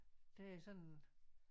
Det er sådan